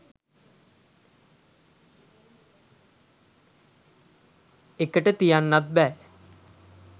එකට තියෙන්නත් බෑ.